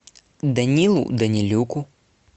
данилу данилюку